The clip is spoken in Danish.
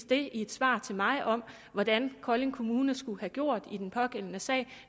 det i et svar til mig om hvordan kolding kommune skulle have gjort i den pågældende sag